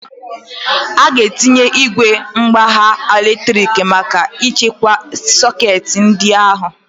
Ọ ga-etinye igwe mkpagha latrik maka ichekwa sekit ndị a ahụ?